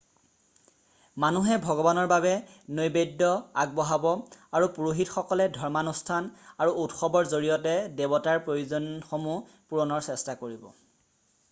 মানুহে ভগৱানৰ বাবে নৈবেদ্য আগবঢ়াব আৰু পুৰোহিতসকলে ধৰ্মানুষ্ঠান আৰু উৎসৱৰ জৰিয়তে দেৱতাৰ প্ৰয়োজনসমূহ পূৰণৰ চেষ্টা কৰিব